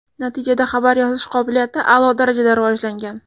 Natijada xabar yozish qobiliyati a’lo darajada rivojlangan.